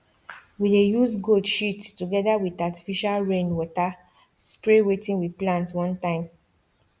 we dey use goat shit together with artificial rain water spray wetin we plant one time